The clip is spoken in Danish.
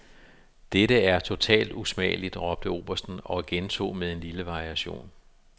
Dette er totalt usmageligt, råbte obersten og gentog med en lille variation.